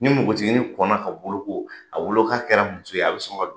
Ni npogotiginin kɔnna ka boloko a bolo k'a kɛra muso ye, a bi sɔn ka don